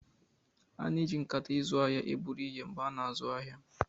A na-eji nkata izu ahịa eburu ihe mgbe a na-azụ ahịa.